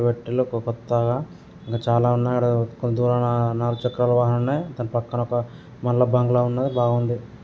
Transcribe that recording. కొత్తగా ఇంకా చాలా ఉన్నాయ్ దాని పక్కన మల్ల బంగ్లా ఉన్నది బావుంది. >]